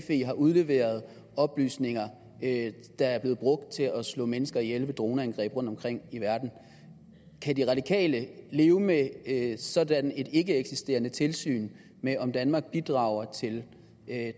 har udleveret oplysninger der er blevet brugt til at slå mennesker ihjel ved droneangreb rundtomkring i verden kan de radikale leve med et sådant ikkeeksisterende tilsyn med om danmark bidrager til